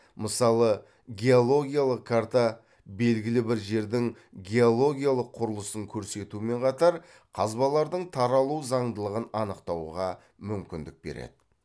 мысалы геологиялық карта белгілі бір жердің геологиялық құрылысын көрсетумен қатар қазбалардың таралу заңдылығын анықтауға мүмкіндік береді